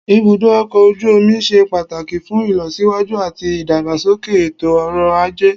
Ibùdó ọkọ̀ ojú omi ṣe pàtàkì fún ìlọsíwájú àti ìdàgbàsókè ètò ọrọ̀ ajé